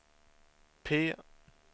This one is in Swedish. P